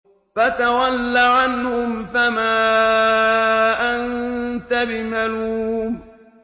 فَتَوَلَّ عَنْهُمْ فَمَا أَنتَ بِمَلُومٍ